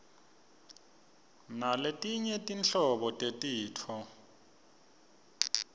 naletinye tinhlobo tetifo